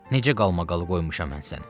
Necə qalmaqalı qoymuşam mən səni?